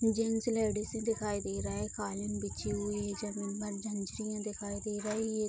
Gents ladies दिखाई दे रहे हैं कालीन बिछी हुई है जमीन पर झंझरियाँ दिखाई दे रही है ।